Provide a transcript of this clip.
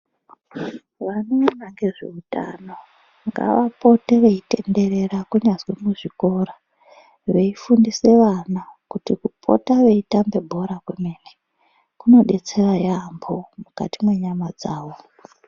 Vanoona ngezveutano ngavapote veitenderera kunyazwi muzvikora veifundisa vana kuti kupote veitambe bhora kunodetsera yaamho mukati menyama dzavo.